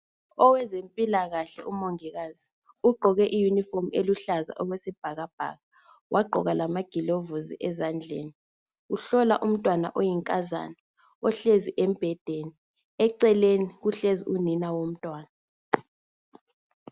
Owezempilakahle umongikazi ugqoke iyunifomu eluhlaza okwesibhakabhaka, wagqoka lamagilovisi ezandleni uhlola umntwana oyinkazana ohlezi embhedeni eceleni kuhlezi unina womntwana.